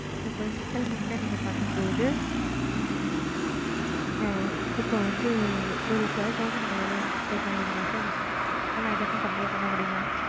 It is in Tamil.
ok mam ok mam